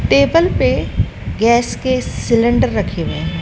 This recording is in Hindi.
टेबल पे गैस के सिलेंडर रखे हुए हैं।